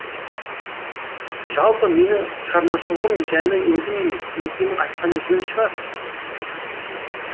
жалпы менің шығармашылығым жайлы өзім емес өзгенің айтқаны жөн шығар